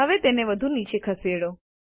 હવે તેને વધુ નીચે ખસેડો